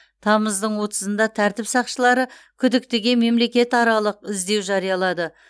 тамыздың отызда тәртіп сақшылары күдіктіге мемлекетаралық іздеу жариялады